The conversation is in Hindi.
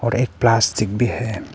और एक प्लास्टिक भी है।